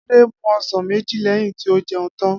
Adé mu o̩sàn méjì lé̩yìn tí ó je̩un tan